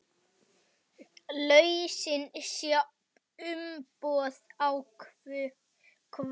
Lausnin sé uppboð á kvóta.